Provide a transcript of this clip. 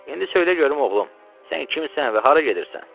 İndi söylə görüm, oğlum, sən kimsən və hara gedirsən?